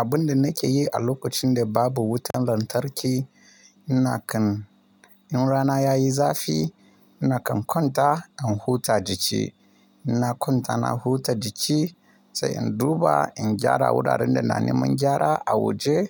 Abin da nake yi a lokacin da babu wutar lantarki, ina kan in rana yayi zafi, ina kan kwanta in huta jiki. Ina kwanta na huta jiki sai in duba in gyara wuraren da na neman gyara a waje